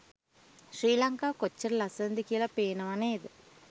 ශ්‍රී ලංකාව කොච්චර ලස්සනද කියල පේනවා නේද?